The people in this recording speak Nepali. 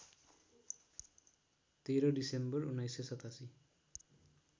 १३ डिसेम्बर १९८७